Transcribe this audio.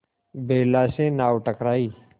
बेला से नाव टकराई